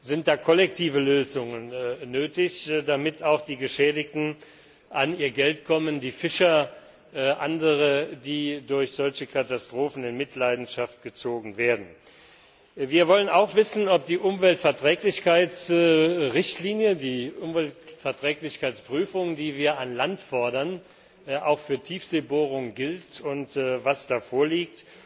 Sind da kollektive Lösungen nötig, damit auch die Geschädigten an ihr Geld kommen, die Fischer und andere, die durch solche Katastrophen in Mitleidenschaft gezogen werden? Wir wollen auch wissen, ob die Umweltverträglichkeitsrichtlinie, die Umweltverträglichkeitsprüfung, die wir an Land fordern, auch für Tiefseebohrungen gilt, und was da vorliegt.